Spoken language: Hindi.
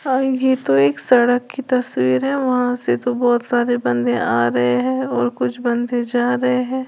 और ये तो एक सड़क की तस्वीर है वहां से तो बहोत सारे बंदे आ रहे हैं और कुछ बंदे जा रहे हैं।